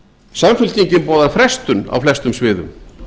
samfylkingin boðar frestun á flestum sviðum